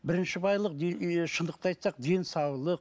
бірінші байлық ыыы шындықты айтсақ денсаулық